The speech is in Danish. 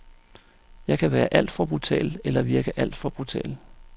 Jeg kan være alt for brutal, eller virke alt for brutal.